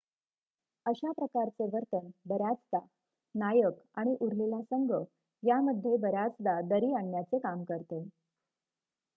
अशा प्रकारचे वर्तन बर्याचदा नायक आणि उरलेला संघ यामध्ये बऱ्याचदा दरी आणण्याचे काम करते